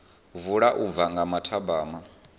vula u bva nga mathabama